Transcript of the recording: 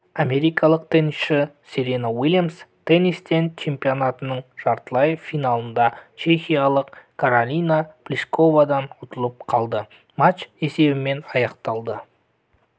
америкалық теннисші серена уильямс теннистен чемпионатының жартылай финалында чехиялық каролина плишковадан ұтылып қалды матч есебімен аяқталды